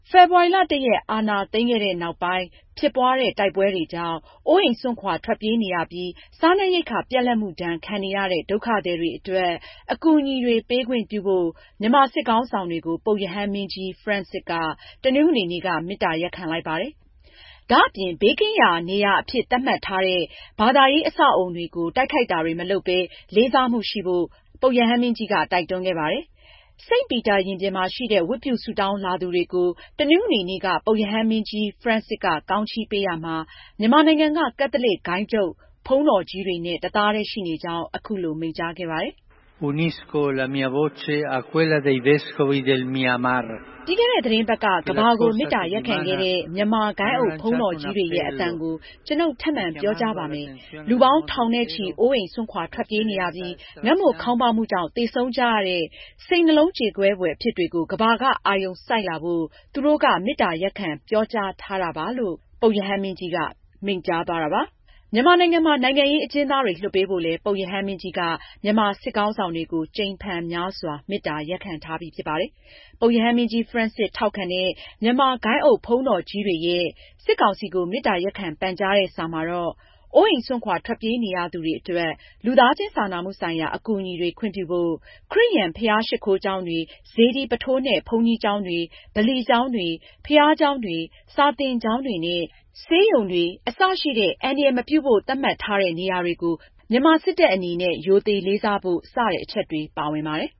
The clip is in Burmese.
ဖေဖော်ဝါရီလ ၁ ရက် အာဏာသိမ်းခဲ့တဲ့နောက်ပိုင်း ဖြစ်ပွားတဲ့ တိုက်ပွဲတွေကြောင့် အိုးအိမ်စွန့်ခွာ ထွက်ပြေးနေရပြီး စားနပ်ရိက္ခာ ပြတ်လတ်မှုဒဏ် ခံနေရတဲ့ ဒုက္ခသည်တွေအတွက် အကူအညီတွေ ပေးခွင့်ပြုဖို့ မြန်မာစစ်ခေါင်းဆောင်တွေကို ပုပ်ရဟန်းမင်းကြီး ဖရန်စစ်က တနင်္ဂနွေနေ့က မေတ္တာရပ်ခံလိုက်ပါတယ်။ ဒါ့အပြင် ဘေးကင်းရာနေရာအဖြစ် သတ်မှတ်ထားတဲ့ ဘာသာရေး အဆောက်အဦတွေကို တိုက်ခိုက်တာတွေမလုပ်ဘဲ လေးစားမှုရှိဖို့ ပုပ်ရဟန်းမင်းကြီးက တိုက်တွန်းခဲ့ပါတယ်။ စိန့်ပီတာရင်ပြင်မှာရှိတဲ့ ဝတ်ပြုဆုတောင်းလာသူတွေကို တနင်္ဂနွေနေ့က ပုပ်ရဟန်းမင်းကြီး ဖရန်စစ်က ကောင်းချီးပေးရာမှာ မြန်မာနိုင်ငံက ကက်သလစ်ဂုဏ်းချုပ် ဘုန်းတော်ကြီးတွေနဲ့ တသားတည်းရှိနေကြောင်း အခုလို မိန့်ကြားခဲ့ပါတယ်။ ”ပြီးခဲ့တဲ့သီတင်းပတ်က ကမ္ဘာကို မေတ္တာရပ်ခံခဲ့တဲ့ မြန်မာ ဂိုဏ်းအုပ်ဘုန်းတော်ကြီးတွေရဲ့ အသံကို ကျွန်ုပ် ထပ်မံပြောကြားပါမယ်။ လူပေါင်း ထောင်နဲ့ချီ အိုးအိမ်စွန့်ခွာ ထွက်ပြေးနေရပြီး ငတ်မွတ်ခေါင်းပါးမှုကြောင့် သေဆုံးကြရတဲ့ စိတ်နှလုံးကြေကွဲဖွယ် အဖြစ်တွေကို ကမ္ဘာက အာရုံစိုက်လာဖို့ သူတို့က မေတ္တာရပ်ခံ ပြောကြားထားတာပါ။” မြန်မာနိုင်ငံမှာ နိုင်ငံရေးအကျဉ်းသားတွေ လွှတ်ပေးဖို့လည်း ပုပ်ရဟန်းမင်းကြီးက မြန်မာစစ်ခေါင်းဆောင်တွေကို ကြိမ်ဖန်များစွာ မေတ္တာရပ်ခံထားပြီး ဖြစ်ပါတယ်။ ပုပ်ရဟန်းမင်းကြီး ဖရန်စစ် ထောက်ခံတဲ့ မြန်မာဂိုဏ်းအုပ်ဘုန်းတော်ကြီးတွေကနေ စစ်ကောင်စီကို မေတ္တာရပ်ခံ ပန်ကြားထားတဲ့စာမှာ အိုးအိမ်စွန့်ခွာ ထွက်ပြေးနေရသူတွေအတွက် လူသားချင်းစာနာမှုဆိုင်ရာ အကူအညီတွေ ခွင့်ပြုဖို့၊ ခရစ်ယာန်ဘုရားရှစ်ခိုးကျောင်းတွေ၊ စေတီပုထိုးနဲ့ ဘုန်းကြီးကျောင်းတွေ၊ ဗလီကျောင်းတွေ၊ ဘုရားကျောင်းတွေ၊ စာသင်ကျောင်းတွေနဲ့ ဆေးရုံတွေ အစရှိတဲ့ အန္တရာယ်မပြုဖို့ သတ်မှတ်ထားတဲ့ နေရာတွေကို မြန်မာစစ်တပ်အနေနဲ့ ရိုသေလေးစားဖို့ စတဲ့အချက်တွေ ပါဝင်ပါတယ်